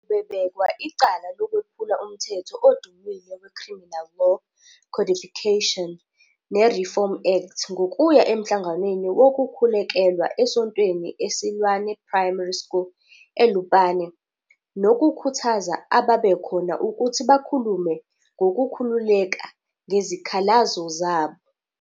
Ubebekwa icala lokwephula umthetho odumile weCriminal Law, Codification, neReform Act ngokuya emhlanganweni wokukhulekelwa esontweni eSilwane Primary School eLupane nokukhuthaza ababekhona ukuthi bakhulume ngokukhululeka ngezikhalazo zabo.